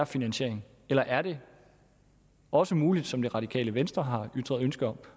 finansieringen eller er det også muligt som det radikale venstre har ytret ønske om